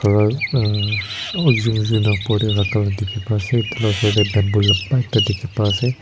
aru aa ekjon ekjon lah upar teh rakha lah dikhi pai ase etu lah ushor teh bamboo loop na ekta dikhi pai ase.